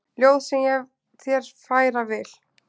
Ljóð sem ég þér færa vil.